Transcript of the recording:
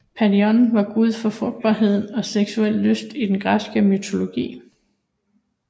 Priadon var gud for frugtbarhed og seksuel lyst i den græske mytologi